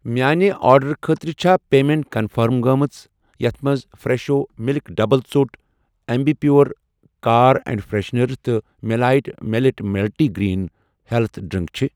میانہِ آرڈرُٕ خٲطرٕ چھا پیمیٚنٹ کنفٔرم گٔمٕژ یتھ مَنٛز فرٛٮ۪شو مِلک ڈبل ژوٚٹ Ambi Pur car air freshener تہٕ مٮ۪لایٹ millet multi grain health drink چھ؟